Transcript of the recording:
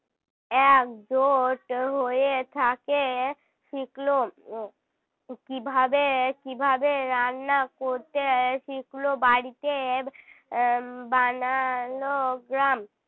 একজোট হয়ে থাকে শিখল কী ভাবে কী ভাবে রান্না করতে শিখলো বাড়িতে বানালো গ্রাম